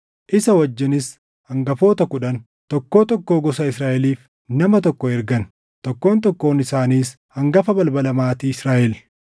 Isa wajjinis hangafoota kudhan, tokkoo tokkoo gosa Israaʼeliif nama tokko ergan; tokkoon tokkoon isaaniis hangafa balbala maatii Israaʼel.